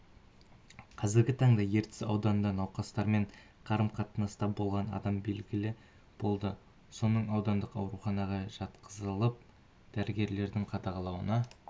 қазіргі таңда ертіс ауданында науқастармен қарым-қатынаста болған адам белгілі болды соның аудандық ауруханаға жатқызылып дәрігерлердің қадағалауына